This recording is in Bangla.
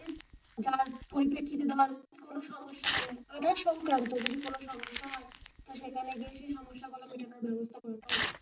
যার পরিপ্রেক্ষিতে ধর কোন সমস্যা হবে আধার সংক্রান্ত কোনো সমস্যা হয় তো সেখানে গিয়ে সমস্যা সমাধানের ব্যবস্থা করে দেওয়া উচিৎ।